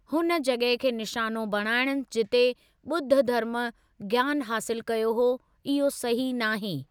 हुन जॻह खे निशानो बणाइणु जिते ॿुध्द धर्म ज्ञानु हासिल कयो हो, इहो सही नाहे।